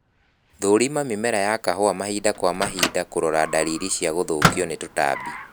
Thũrima mĩmera ya kahũa mahinda kwa mahinda kũrora dalili cia gũthũkio ni tũtambi